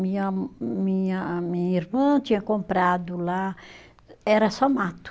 Minha minha, a minha irmã tinha comprado lá, era só mato.